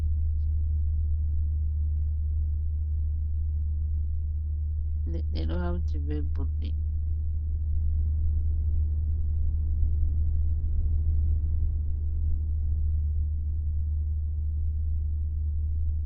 Leɗɗe ɗo hawti be burɗi.